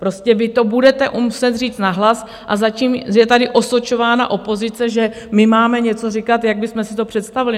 Prostě vy to budete muset říct nahlas, a zatím je tady osočována opozice, že my máme něco říkat, jak bychom si to představili.